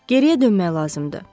Geriyə dönmək lazımdır.